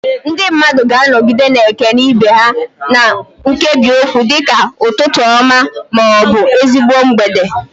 Ndị mmadụ ga-anọgide na-ekele ibe ha na nkebiokwu dị ka "Ụtụtụ ọma" ma ọ bụ "Ezigbo mgbede."